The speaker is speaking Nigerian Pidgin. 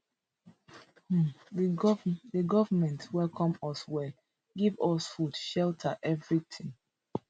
um di goment di goment welcome us well give us food shelter evritin